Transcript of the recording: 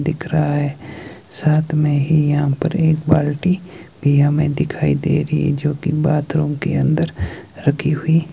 दिख रहा है साथ में ही यहां पर एक बाल्टी पिया में दिखाई दे रही है जो की बाथरूम के अंदर रखी हुई--